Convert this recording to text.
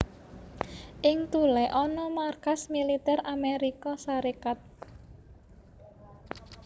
Ing Thule ana markas militer Amérika Sarékat